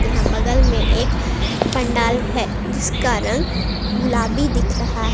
यहां बगल में एक पंडाल है जिसका रंग गुलाबी दिख रहा है।